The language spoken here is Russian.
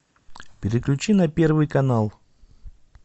переключи на первый канал